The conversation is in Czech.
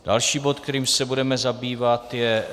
Další bod, kterým se budeme zabývat, je